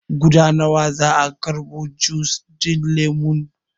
Guda nawa za a karɓo jus ɗin lemon?